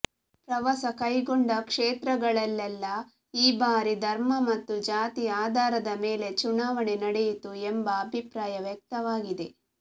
ಪ್ರವಾಸ ಕೈಗೊಂಡ ಕ್ಷೇತ್ರಗಳಲ್ಲೆಲ್ಲ ಈ ಬಾರಿ ಧರ್ಮ ಮತ್ತು ಜಾತಿ ಆಧಾರದ ಮೇಲೆ ಚುನಾವಣೆ ನಡೆಯಿತು ಎಂಬ ಅಭಿಪ್ರಾಯ ವ್ಯಕ್ತವಾಗಿದೆ